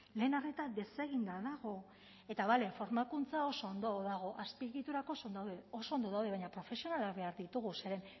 lehen arreta deseginda dago eta bale formakuntza oso ondo dago azpiegiturak oso ondo daude baina profesionalak behar ditugu zeren